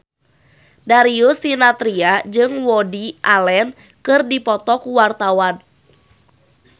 Darius Sinathrya jeung Woody Allen keur dipoto ku wartawan